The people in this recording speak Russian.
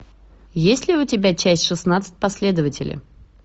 есть ли у тебя часть шестнадцать последователи